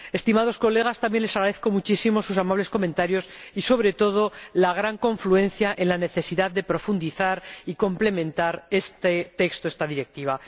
Estimados colegas, también les agradezco muchísimo sus amables comentarios y, sobre todo, la gran confluencia en la necesidad de profundizar y complementar este texto, esta Directiva.